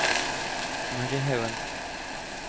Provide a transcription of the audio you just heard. Mary Hauan